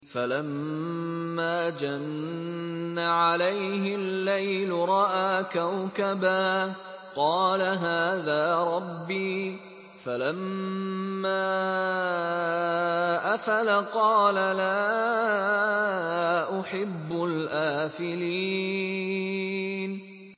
فَلَمَّا جَنَّ عَلَيْهِ اللَّيْلُ رَأَىٰ كَوْكَبًا ۖ قَالَ هَٰذَا رَبِّي ۖ فَلَمَّا أَفَلَ قَالَ لَا أُحِبُّ الْآفِلِينَ